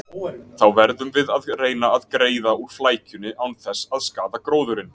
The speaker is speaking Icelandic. Þá verðum við að reyna að greiða úr flækjunni án þess að skaða gróðurinn.